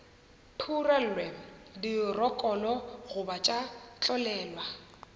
phurelwe dirokolo goba tša tlolelwa